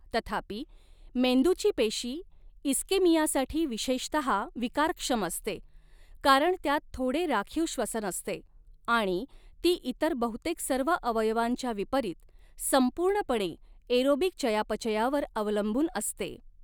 तथापि, मेंदूची पेशी इस्केमियासाठी विशेषतहा विकारक्षम असते कारण त्यात थोडे राखीव श्वसन असते आणि ती इतर बहुतेक सर्व अवयवांच्या विपरीत, संपूर्णपणे एरोबिक चयापचयावर अवलंबून असते.